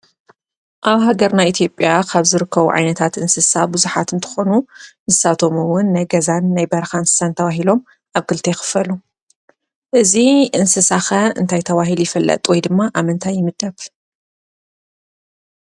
ኣብ ሃገርና ኢትዮጵያ ካብ ዝርከቡ ዓይነታት እንስሳ ብዙሓት እንትኾኑ ንሳቶም እውን ናይ ገዛን ናይ በረኻን እንስሳ ተባሂሎም ኣብ ክልተ ይኽፈሉ፡፡ እዚ እንስሳ ኸ እንታይ ተባሂሉ ይፍለጥ ወይ ድማ ኣብ ምንታይ ይምደብ?